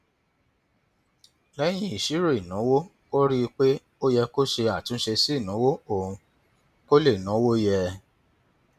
lẹyìn ìṣírò ìnáwó ó rí i pé ó yẹ kó ṣe àtúnṣe sí ìnáwó òun kó lè náwó yẹ